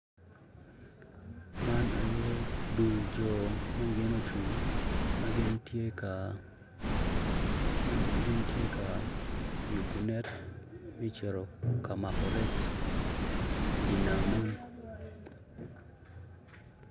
Man aye dul jo ma gin ocung ma gin tye ka yubo net me cito ka mako rec idye nam man.